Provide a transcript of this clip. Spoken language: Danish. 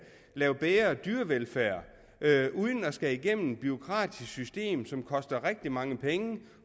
lave bedre dyrevelfærd uden at skulle igennem et bureaukratisk system som koster rigtig mange penge